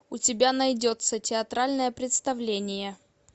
у тебя найдется театральное представление